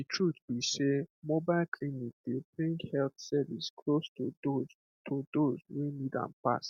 the truth be sey mobile clinic dey bring health service close to those to those wey need am pass